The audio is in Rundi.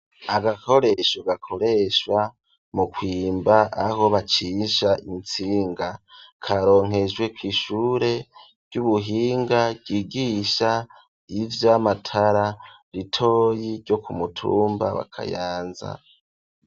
Agakoresho, gakoreshwa mu kwimba, aho bacisha intsinga, karonkejwe kw'ishure ry'ubuhinga, ryigisha ivy’amatara, ritoyi ryo ku mutumba wa Kayanza.